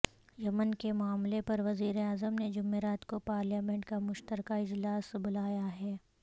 یمن کے معاملے پر وزیراعظم نے جمعرات کو پارلیمنیٹ کا مشترکہ اجلاس بلایا ہے